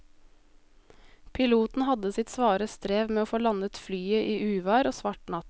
Piloten hadde sitt svare strev med å få landet flyet i uvær og svart natt.